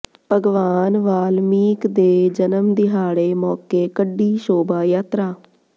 ਭਗਵਾਨ ਵਾਲਮੀਕ ਦੇ ਜਨਮ ਦਿਹਾੜੇ ਮੌਕੇ ਕੱਢੀ ਸ਼ੋਭਾ ਯਾਤਰਾ